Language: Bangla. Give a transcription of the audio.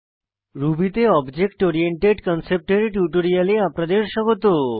রুবি তে অবজেক্ট ওরিয়েন্টেড কনসেপ্ট এর টিউটোরিয়ালে আপনাদের স্বাগত